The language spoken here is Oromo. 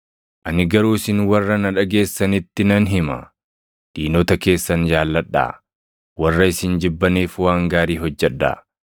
“Ani garuu isin warra na dhageessanitti nan hima; diinota keessan jaalladhaa; warra isin jibbaniif waan gaarii hojjedhaa;